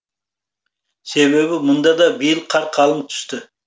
себебі мұнда да биыл қар қалың түсті